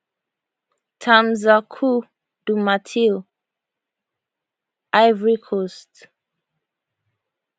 tam sir coup du marteau ivory coast